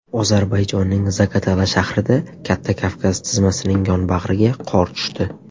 Ozarbayjonning Zagatala shahrida, Katta Kavkaz tizmasining yonbag‘riga qor tushdi.